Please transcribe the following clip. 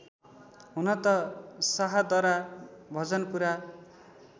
हुनत Shahdara Bhajanpura